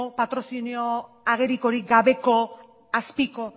patrozinio agerikorik gabe azpiko